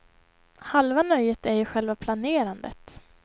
Halva nöjet är ju själva planerandet.